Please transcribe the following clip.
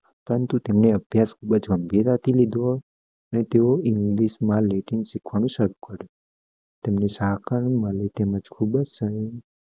પરંતુ તેમને અબ્યાસ ખુબજ ગ્મ્ભીરીતે લીધું હોય અને તેઓ ઇંગલિશ રેઅડિંગ શીખવાનું શરૃ કર્યું તેમને